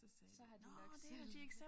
Så har de nok selv